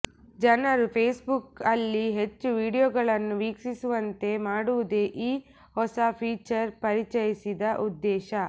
ಜನರು ಫೇಸ್ಬುಕ್ ಅಲ್ಲಿ ಹೆಚ್ಚು ವೀಡಿಯೊಗಳನ್ನು ವೀಕ್ಷಿಸುವಂತೆ ಮಾಡುವುದೇ ಈ ಹೊಸ ಫೀಚರ್ ಪರಿಚಯಿಸಿದ ಉದ್ದೇಶ